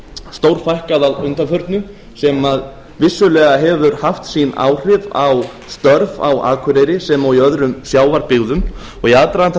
stórfækkað að undanförnu sem vissulega hefur haft sín áhrif á störf á akureyri sem og í öðrum sjávarbyggðum og í aðdraganda